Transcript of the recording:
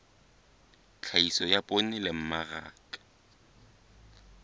tlhahiso ya poone le mmaraka